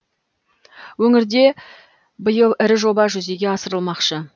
өңірде биыл ірі жоба жүзеге асырылмақшы